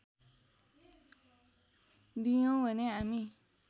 दियौँ भने हामी